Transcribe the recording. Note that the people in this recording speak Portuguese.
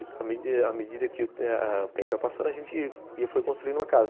E, à medida à medida que o tempo ia passando, a gente ia... Foi construindo uma casa.